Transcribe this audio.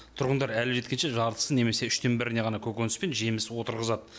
тұрғындар әлі жеткенше жартысын немесе үштен біріне ғана көкөніс пен жеміс отырғызады